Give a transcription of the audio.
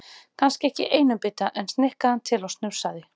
Kannski ekki í einum bita, en snikkaði hann til og snurfusaði.